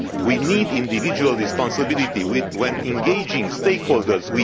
We need individual responsibility when engaging stakeholders